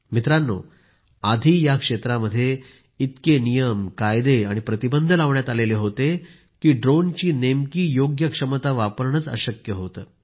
मित्रांनो आधी या क्षेत्रामध्ये इतके नियम कायदे आणि प्रतिबंध लावण्यात आले होेते की ड्रोनची नेमकी योग्य क्षमता वापरणेच अशक्य होते